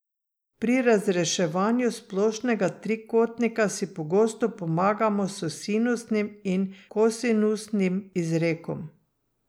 Pri razreševanju splošnega trikotnika si pogosto pomagamo s sinusnim in kosinusnim izrekom.